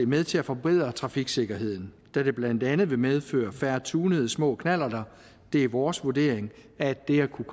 med til at forbedre trafiksikkerheden da det blandt andet vil medføre færre tunede små knallerter det er vores vurdering at det at kunne